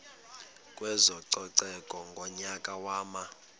kwezococeko ngonyaka wama